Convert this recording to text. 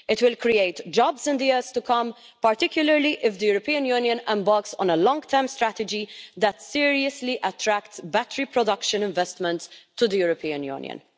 It will create jobs in the years to come, particularly if the European Union embarks on a long term strategy that seriously attracts battery production investments to the European Union.